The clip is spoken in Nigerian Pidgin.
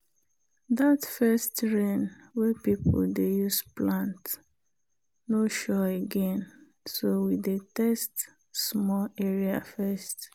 that first rain wey people dey use plant no sure again so we dey test small area first.